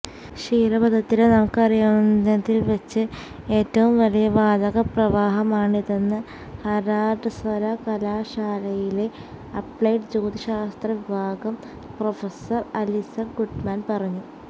ക്ഷീരപഥത്തിലെ നമുക്കറിയാവുന്നതില്വെച്ച് ഏറ്റവും വലിയ വാതക പ്രവാഹമാണിതെന്ന് ഹാര്വാര്ഡ് സര്വകലാശാലയിലെ അപ്ലൈഡ് ജ്യോതിശാസ്ത്ര വിഭാഗം പ്രൊഫസര് അലിസ്സ ഗുഡ്മാന് പറഞ്ഞു